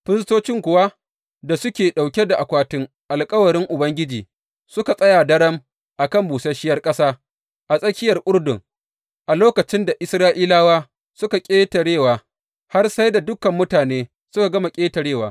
Firistocin kuwa da suke ɗauke da akwatin alkawarin Ubangiji suka tsaya daram a kan busasshiyar ƙasa a tsakiyar Urdun a lokacin da Isra’ilawa suka ƙetarewa, har sai da dukan mutane suka gama ƙetarewa.